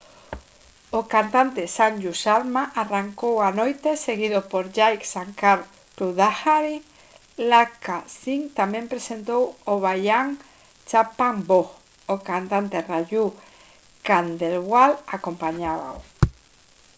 o cantante sanju sharma arrancou a noite seguido por jai shankar choudhary. lakkha singh tamén presentou o bhajan «chhappan bhog». o cantante raju khandelwal acompañábao